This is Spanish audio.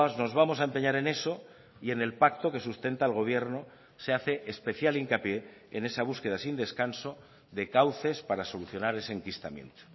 nos vamos a empeñar en eso y en el pacto que sustenta el gobierno se hace especial hincapié en esa búsqueda sin descanso de cauces para solucionar ese enquistamiento